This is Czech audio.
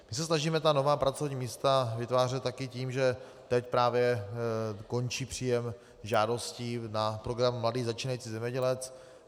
My se snažíme ta nová pracovní místa vytvářet také tím, že teď právě končí příjem žádostí na program Mladý začínající zemědělec.